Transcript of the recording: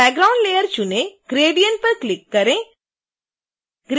background layer चुनें gradient पर click करें